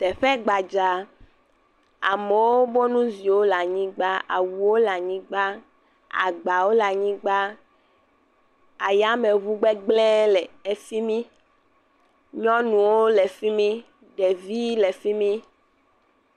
Teƒe gbadzaa. Amewo bo nuziwo le anyigba. Awuwo le anyigba, agbawo le anyigba, ayameŋu gbegblẽ le efi mi. yɔnuwo le fi mi, ɖevii le fi mi.